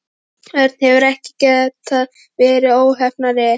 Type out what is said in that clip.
Örn hefði ekki getað verið óheppnari.